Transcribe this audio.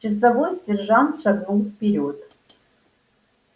часовой сержант шагнул вперёд